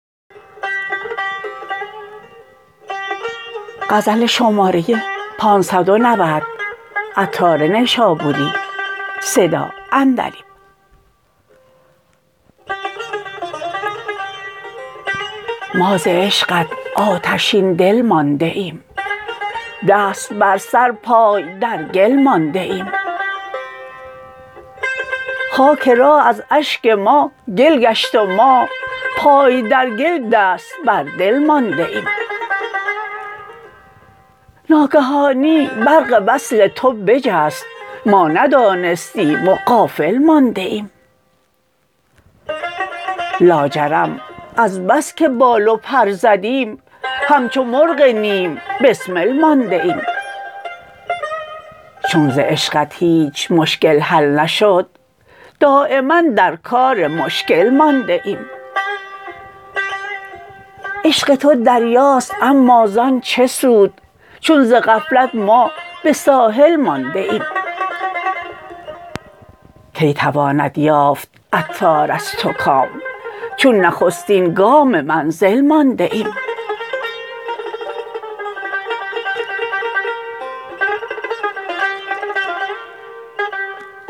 ما ز عشقت آتشین دل مانده ایم دست بر سر پای در گل مانده ایم خاک راه از اشک ما گل گشت و ما پای در گل دست بر دل مانده ایم ناگهانی برق وصل تو بجست ما ندانستیم و غافل مانده ایم لاجرم از بس که بال و پر زدیم همچو مرغ نیم بسمل مانده ایم چون ز عشقت هیچ مشکل حل نشد دایما در کار مشکل مانده ایم عشق تو دریاست اما زان چه سود چون ز غفلت ما به ساحل مانده ایم کی تواند یافت عطار از تو کام چون نخستین گام منزل مانده ایم